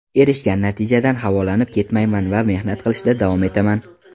Erishgan natijadan havolanib ketmayman va mehnat qilishda davom etaman.